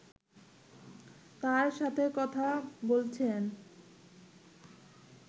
তাঁর সাথে কথা বলছেন